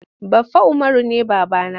Baffa Umaru ne baba na.